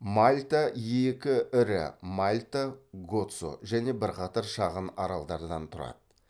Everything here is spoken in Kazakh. мальта екі ірі мальта гоцо және бірқатар шағын аралдардан тұрады